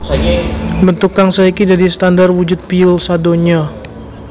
Bentuk kang saiki dadi standar wujud piyul sadonya